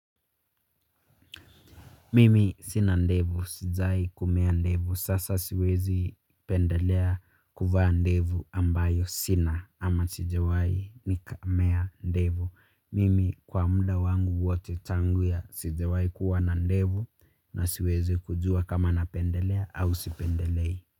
Mimi sina ndevu. Sijai kumea ndevu. Sasa siwezi pendelea kuvaa ndevu ambayo sina ama sijawai nikamea ndevu. Mimi kwa muda wangu wote tangu ya sijawai kuwa na ndevu na siwezi kujua kama napendelea au sipendelei.